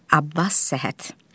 Abbas Səhhət.